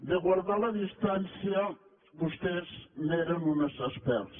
de guardar la dis·tància vostès n’eren uns experts